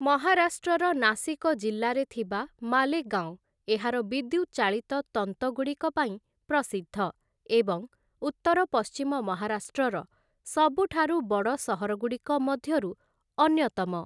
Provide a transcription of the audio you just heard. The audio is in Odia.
ମହାରାଷ୍ଟ୍ରର ନାସିକ ଜିଲ୍ଲାରେ ଥିବା ମାଲେଗାଓଁ ଏହାର ବିଦ୍ୟୁତ୍ ଚାଳିତ ତନ୍ତଗୁଡ଼ିକ ପାଇଁ ପ୍ରସିଦ୍ଧ ଏବଂ ଉତ୍ତର ପଶ୍ଚିମ ମହାରାଷ୍ଟ୍ରର ସବୁଠାରୁ ବଡ଼ ସହରଗୁଡ଼ିକ ମଧ୍ୟରୁ ଅନ୍ୟତମ ।